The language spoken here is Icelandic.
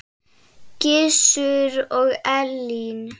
Gizur og Elín.